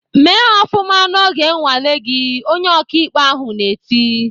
"Mee ofụma n'oge nnwale gị!" Onye ọkaikpe ahụ na-eti.